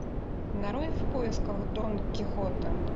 нарой в поисках дон кихота